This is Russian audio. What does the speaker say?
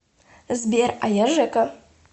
сбер а я жэка